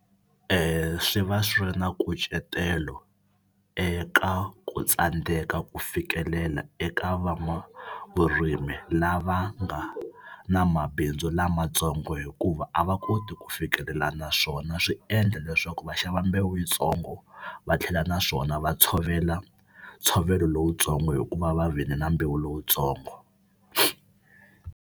Swi va swi ri na nkucetelo eka ku tsandzeka ku fikelela eka van'wavurimi lava nga na mabindzu lamatsongo hikuva a va koti ku fikelela na swona swi endla leswaku va xava mbewu yitsongo va tlhela naswona va tshovela ntshovelo lowutsongo hikuva va vile na mbewu lowutsongo.